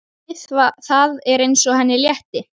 Við það er eins og henni létti.